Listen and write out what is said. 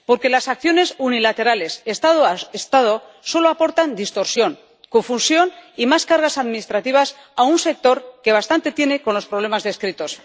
Porque las acciones unilaterales Estado a Estado solo aportan distorsión, confusión y más cargas administrativas a un sector que bastante tiene con los problemas descritos.